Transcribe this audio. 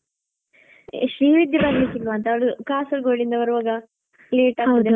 ಶ್ರೀವಿದ್ಯಾ ಬರಲಿಕ್ಕೆ ಇಲ್ವಾ ಅಂತ ಅವಳಿಗೆ Kasaragod ಇಂದ ಬರವಾಗ late ಆಗ್ತದೆ ಅಲ್ವಾ.